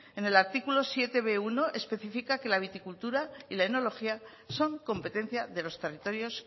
en el artículo zazpibuno especifica que la viticultura y la enología son competencia de los territorios